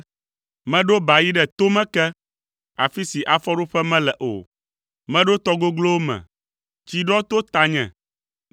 Meɖo ba yi ɖe tome ke, afi si afɔɖoƒe mele o. Meɖo tɔ goglowo me; tsi ɖɔ to tanye.